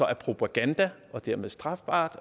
er propaganda og dermed strafbart